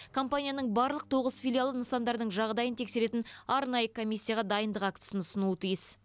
компанияның барлық тоғыз филиалы нысандардың жағдайын тексеретін арнайы комиссияға дайындық актісін ұсынуы тиіс